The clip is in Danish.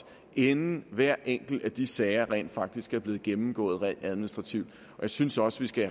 inden hver enkelt af de sager rent faktisk er blevet gennemgået administrativt jeg synes også vi skal